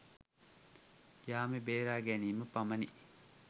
ජාමේ බේරා ගැනීම පමණි